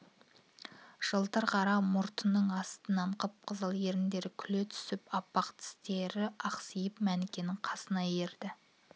жылтыр қара мұрттың астынан қып-қызыл еріндері күле түсіп аппақтістерін ақситып мәнікенің қасына ерді